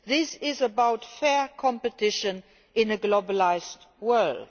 This is about fair competition in a globalised world.